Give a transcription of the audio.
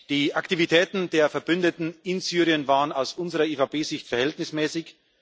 Die Aktivitäten der Verbündeten in Syrien waren aus unserer EVP-Sicht verhältnismäßig.